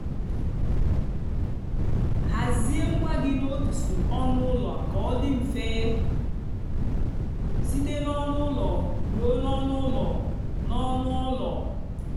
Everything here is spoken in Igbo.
hazie ngwa gị n'otu ọnụ ụlọ ka ọ dị mfe site n'ọnụ ụlọ ruo n'ọnụ ụlọ. n'ọnụ ụlọ.